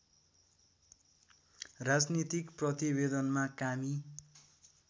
राजनीतिक प्रतिवेदनमा कामी